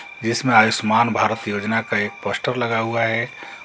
जिसमें आयुष्मान भारत योजना का एक पोस्टर लगा हुआ है।